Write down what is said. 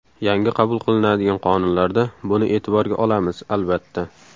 Yangi qabul qilinadigan qonunlarda buni e’tiborga olamiz, albatta.